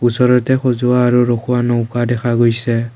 ওচৰতে সজোৱা আৰু ৰখোৱা নৌকা দেখা গৈছে।